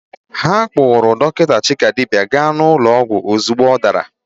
Ha kpụrụ dọkịta Chikadibia gaa ụlọ ọgwụ ozugbo ọ dara.